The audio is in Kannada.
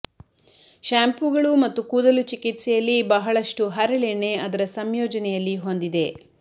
ಶ್ಯಾಂಪೂಗಳು ಮತ್ತು ಕೂದಲು ಚಿಕಿತ್ಸೆಯಲ್ಲಿ ಬಹಳಷ್ಟು ಹರಳೆಣ್ಣೆ ಅದರ ಸಂಯೋಜನೆಯಲ್ಲಿ ಹೊಂದಿದೆ